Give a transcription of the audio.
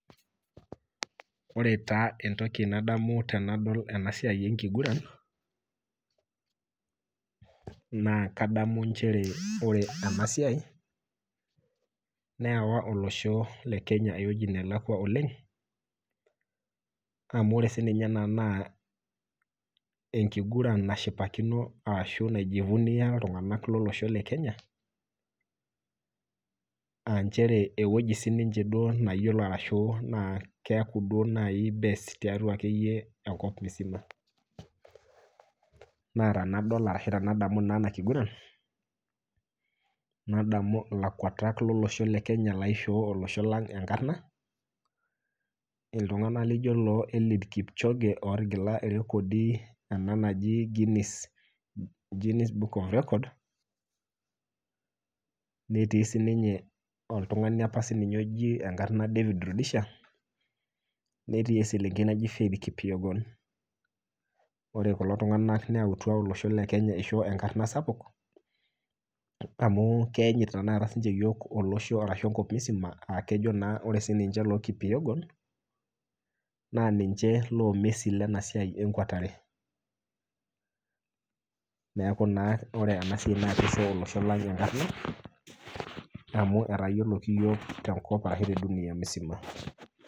Ore taa entoki nadamu tenadol ena siai enkiguran ,naa nchere ore ena siai neewa olosho lekenya eweji nelakwa oleng amu ore siininye ena naa enkiguran nashipakino ashu naijifunia iltunganak lekenya, aa eweji nayiolo siininche naa keeku akeyie best tiatua enkop msima. naa tenadol ashu tenadamu naa enakiguran, nadamu lakwetak lolosho lekenya loishoo olosho lang enkarna ,iltunganak laijo eliud kipchoge lootigila irekodi ena naji book of records netii siininye oltunagani apa oji enkarna David rudisha netii eselenkei naji faith kipyegon. ore kulo tunganak nayautua olosho lekenya eishoo enkarna sapuk aa keyanyit saai nininye yiok enkop msima aakejo ore lookipyegon naa ninche loomessi Lena siai enkwatare. neeku naa ore ena siai naakishoo olosho lang enkarna amu etayioloki yiok tenkop ashu tedunia msima.